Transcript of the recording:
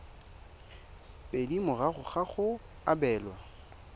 pedi morago ga go abelwa